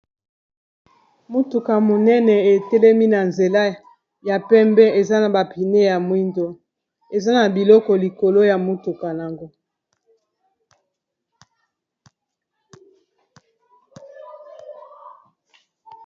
Motuka monene etelemi na nzela ya pembe, eza na bapine ya mwindo, eza na biloko likolo ya motuka yango.